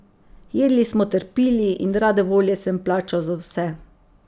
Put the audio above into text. Jedli smo ter pili in rade volje sem plačal za vse.